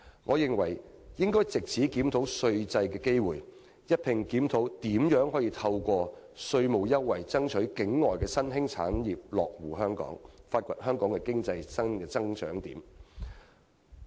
我認為應藉此檢討稅制的機會，一併探討如何透過稅務優惠爭取境外的新興產業落戶香港，以發掘香港新的經濟增長點。